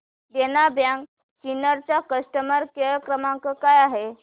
देना bank Sinnar चा customer care क्रमांक काय आहे